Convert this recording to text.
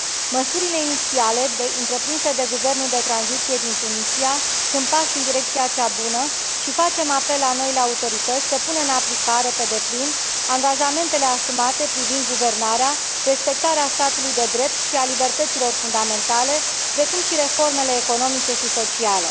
Măsurile inițiale întreprinse de guvernul de tranziție din Tunisia sunt pași în direcția cea bună și facem apel la noile autorități să pună în aplicare pe deplin angajamentele asumate privind guvernarea, respectarea statului de drept și a libertăților fundamentale, precum și reformele economice și sociale.